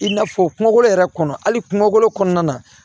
I n'a fɔ kungolo yɛrɛ kɔnɔ hali kungolo kɔnɔna na